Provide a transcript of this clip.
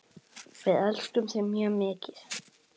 Við elskum þig mjög mikið.